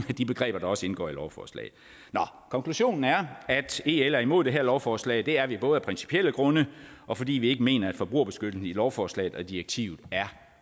af de begreber der også indgår i lovforslaget konklusionen er at el er imod det her lovforslag det er vi både af principielle grunde og fordi vi ikke mener at forbrugerbeskyttelsen i lovforslaget og i direktivet er